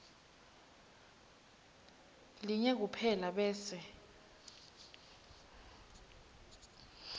linye kuphela bese